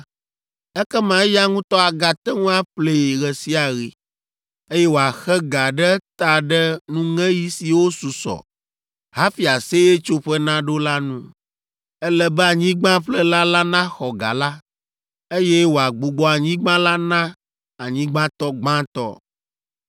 ekema eya ŋutɔ agate ŋu aƒlee ɣe sia ɣi, eye wòaxe ga ɖe eta ɖe nuŋeɣi siwo susɔ hafi Aseyetsoƒe naɖo la nu. Ele be anyigbaƒlela la naxɔ ga la, eye wòagbugbɔ anyigba la na anyigbatɔ gbãtɔ.